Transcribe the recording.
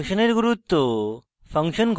function এর গুরুত্ব